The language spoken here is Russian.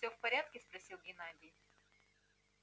все в порядке спросил геннадий